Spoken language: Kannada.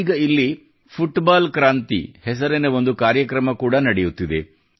ಈಗ ಇಲ್ಲಿ ಫುಟ್ಬಾಲ್ ಕ್ರಾಂತಿ ಹೆಸರಿನ ಒಂದು ಕಾರ್ಯಕ್ರಮ ಕೂಡಾ ನಡೆಯುತ್ತಿದೆ